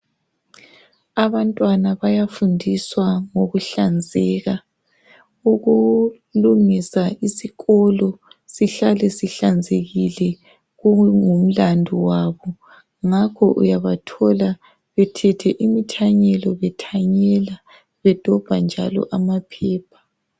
Abantwana bayafundiswa ngokuhlanzeka ukulungisa isikolo sihlale sihlanzekile kungumlandu wabo ngakho uyabathola bethethe imithanyelo bethanyela bedobha njalo amaphepha.